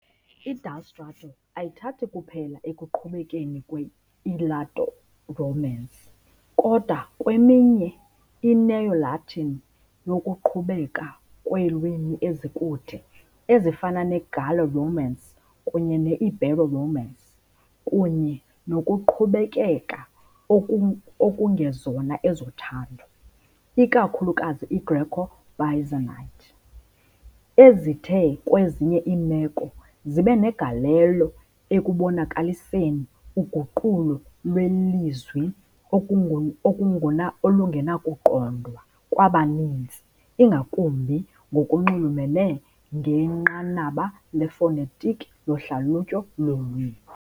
I-adstrato ayithathi kuphela ekuqhubekeni kwe-Italo-Romance, kodwa nakweminye i-Neo- Latin yokuqhubeka kweelwimi ezikude, ezifana ne- Gallo-Romance kunye ne-Ibero-Romance, kunye nokuqhubekeka okungezona ezothando, ikakhulukazi iGreco-Byzantine, ezithe, kwezinye iimeko, zibe negalelo ekubonakaliseni uguqulo lwelizwi olungenakuqondwa kwabaninzi, ingakumbi ngokunxulumene ngenqanaba lefonetiki lohlalutyo lweelwimi .